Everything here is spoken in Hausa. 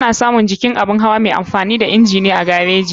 Ana samun jikin abun hawa mai amfani da inji ne a gareji.